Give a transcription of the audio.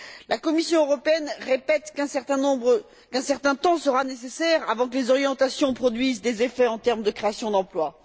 La Commission européenne répète qu'un certain temps sera nécessaire avant que les orientations produisent des effets en termes de création d'emplois.